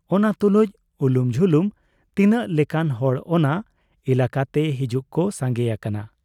ᱚᱱᱟ ᱛᱩᱞᱩᱡ ᱩᱞᱩᱢ ᱡᱷᱩᱞᱩᱢ ᱛᱤᱱᱟᱹᱜ ᱞᱮᱠᱟᱱ ᱦᱚᱲ ᱚᱱᱟ ᱮᱞᱟᱠᱟᱛᱮ ᱦᱤᱡᱩᱜ ᱠᱚ ᱥᱟᱸᱜᱮ ᱟᱠᱟᱱᱟ ᱾